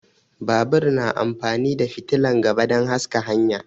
Babur na amfani da fitilan gaba dan haska hanya